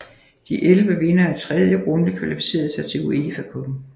De elleve vindere af tredje runde kvalificerede sig til UEFA Cuppen